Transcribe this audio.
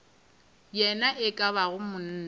ye e ka bago monna